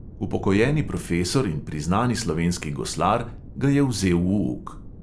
Upokojeni profesor in priznani slovenski goslar ga je vzel v uk.